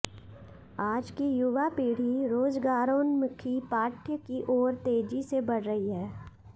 आज की युवा पीढ़ी रोजगारोन्मुखी पाठ्य की ओर तेजी से बढ़ रही है